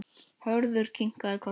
Hörður kinkaði kolli.